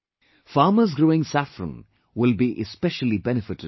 Farmers growing saffron will be especially benefited by this